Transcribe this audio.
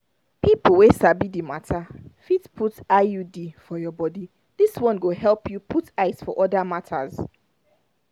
na people wey sabi the matter fit put iud for your body this one go help you put eyes for other matters.